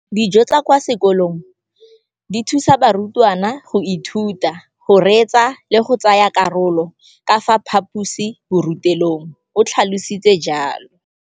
Dijo tsa kwa sekolong dithusa barutwana go ithuta, go reetsa le go tsaya karolo ka fa phaposiborutelong, o tlhalositse jalo.